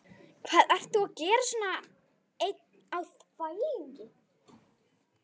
Hvað ert þú að gera svona einn á þvælingi?